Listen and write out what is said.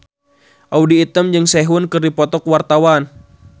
Audy Item jeung Sehun keur dipoto ku wartawan